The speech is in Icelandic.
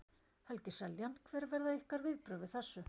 Helgi Seljan: Hver verða ykkar viðbrögð við þessu?